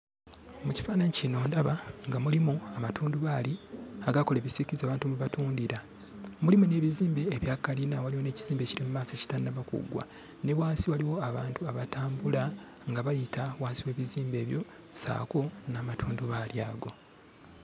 Mu kifaananyi kino ndaba nga mulimu amatundubaali agakola ebisiikirize abantu mwe batundira. Mulimu n'ebizimbe ebya kalina, waliwo ekizimbe ekiri maaso ekitannaba kuggwa; ne wansi waliwo abantu abatambula nga bayita wansi w'ebizimbe ebyo ssaako n'amatundubaali ago.